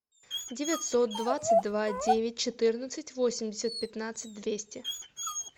девятьсот двадцать два девять четырнадцать восемьдесят пятнадцать двести